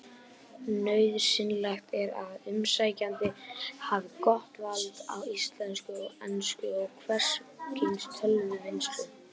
Nauðsynlegt er að umsækjandi hafi gott vald á íslensku, ensku og hvers kyns tölvuvinnslu.